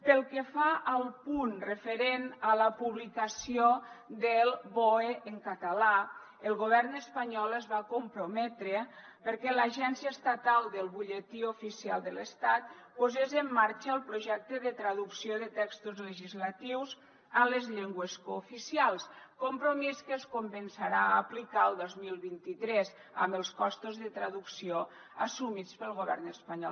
pel que fa al punt referent a la publicació del boe en català el govern espanyol es va comprometre perquè l’agència estatal del butlletí oficial de l’estat posés en marxa el projecte de traducció de textos legislatius a les llengües cooficials compromís que es començarà a aplicar el dos mil vint tres amb els costos de traducció assumits pel govern espanyol